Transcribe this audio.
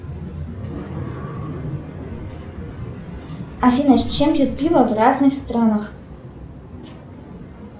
афина с чем пьют пиво в разных странах